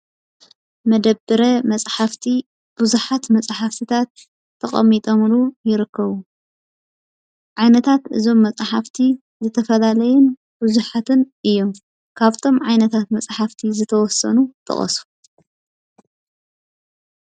መደብረ መፅሓፍቲ ብዙሓት መፅሓፍቲታት ተቀሚጠምሉ ይርኸቡ። ዓይነታት እዞም መፃሓፍቲ ዝተፈላለዩን ብዙሓትን እዮም። ካፍቶም ዓይነታት መፅሓፍቲ ዝተወሰኑ ጥቀሱ?